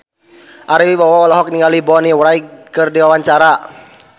Ari Wibowo olohok ningali Bonnie Wright keur diwawancara